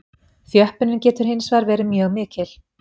Þjöppunin getur hins vegar verið mjög mikil.